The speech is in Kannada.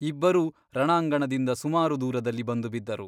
ಇಬ್ಬರೂ ರಣಾಂಗಣದಿಂದ ಸುಮಾರು ದೂರದಲ್ಲಿ ಬಂದು ಬಿದ್ದರು.